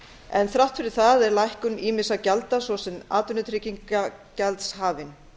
en þrátt fyrir það er lækkun ýmissa gjalda svo sem atvinnutryggingagjalds hafin